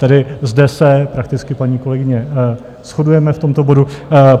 Tedy zde se prakticky, paní kolegyně, shodujeme v tomto bodu.